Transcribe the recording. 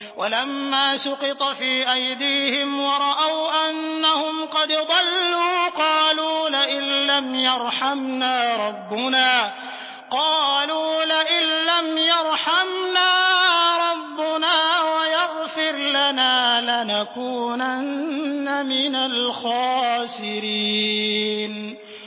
وَلَمَّا سُقِطَ فِي أَيْدِيهِمْ وَرَأَوْا أَنَّهُمْ قَدْ ضَلُّوا قَالُوا لَئِن لَّمْ يَرْحَمْنَا رَبُّنَا وَيَغْفِرْ لَنَا لَنَكُونَنَّ مِنَ الْخَاسِرِينَ